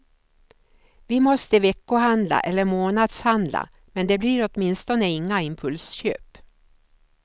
Vi måste veckohandla eller månadshandla, men det blir åtminstone inga impulsköp.